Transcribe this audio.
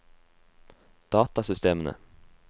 datasystemene